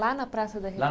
Lá na Praça da